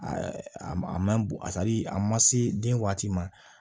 a ma bɔ a tali a ma se den waati ma